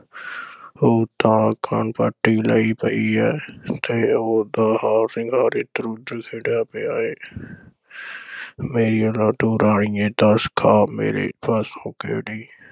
ਉਹ ਤਾਂ ਖਣਪੱਟੀ ਲਈ ਪਈ ਐ ਤੇ ਉਸ ਦਾ ਹਾਰ-ਸ਼ਿੰਗਾਰ ਏਧਰ-ਓਧਰ ਖਿੰਡਿਆ ਪਿਆ ਹੈ ਮੇਰੀਏ ਲਾਡੋ ਰਾਣੀਏਂ ਦਸ ਖਾਂ ਮੇਰੇ ਪਾਸੋਂ ਕਿਹੜੀ